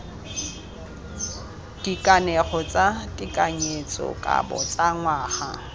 dikanego tsa tekanyetsokabo tsa ngwaga